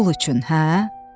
Pul üçün, hə?